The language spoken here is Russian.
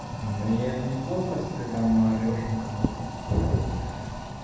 ну я это неплохо если ты там наорёшь на кого-то